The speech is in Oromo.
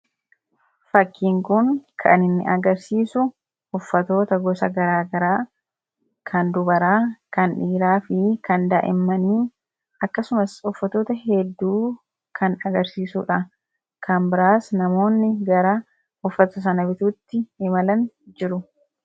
Fakkiin kun kan inni agarsiisu uffatoota gosa garaagaraa kan dubaraa kan dhiiraa fi kan daa'immanii akkasumas uffatoota hedduu kan agarsiisuudha. kan biraas namoonni gara uffata sana bituutti imalan jiru.